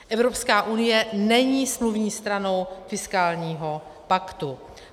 Evropská unie není smluvní stranou fiskálního paktu.